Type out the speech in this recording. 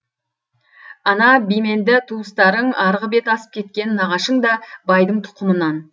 ана бименді туыстарың арғы бет асып кеткен нағашың да байдың тұқымынан